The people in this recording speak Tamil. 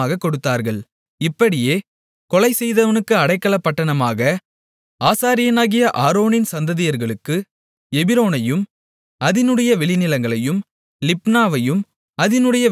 இப்படியே கொலைசெய்தவனுக்கு அடைக்கலப்பட்டணமாக ஆசாரியனாகிய ஆரோனின் சந்ததியார்களுக்கு எபிரோனையும் அதினுடைய வெளிநிலங்களையும் லிப்னாவையும் அதினுடைய வெளிநிலங்களையும்